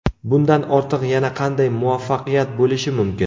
Bundan ortiq yana qanday muvaffaqiyat bo‘lishi mumkin.